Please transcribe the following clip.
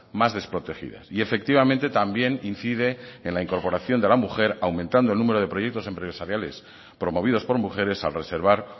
más desprotegidas y efectivamente también incide en la incorporación de la mujer aumentando el número de proyectos empresariales promovidos por mujeres al reservar